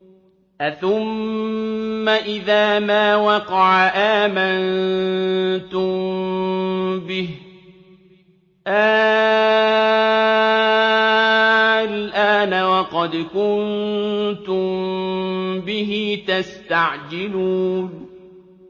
أَثُمَّ إِذَا مَا وَقَعَ آمَنتُم بِهِ ۚ آلْآنَ وَقَدْ كُنتُم بِهِ تَسْتَعْجِلُونَ